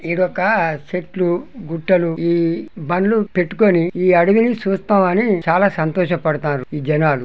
ఇడొక చెట్లు గుట్టలు ఈ బండ్లు పెట్టుకొని ఈ అడవిని చూస్తామని చాలా సంతోషపడుతున్నారు ఈ జనాలు.